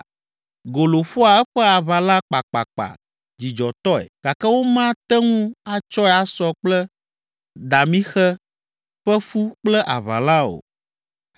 “Golo ƒoa eƒe aʋala kpakpakpa dzidzɔtɔe gake womate ŋu atsɔe asɔ kple damixe ƒe fu kple aʋalã o.